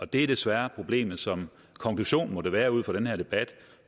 det er desværre problemet som konklusionen må være ud fra den her debat